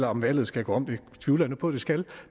om valget skal gå om det tvivler jeg på det skal